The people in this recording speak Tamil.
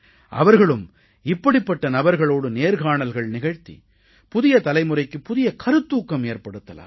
அவர்களும் இப்படிப்பட்ட நபர்களோடு நேர்காணல்கள் நிகழ்த்தி புதிய தலைமுறைக்குப் புதிய கருத்தூக்கம் ஏற்படுத்தலாம்